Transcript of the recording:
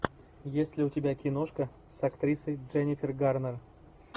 есть ли у тебя киношка с актрисой дженнифер гарнер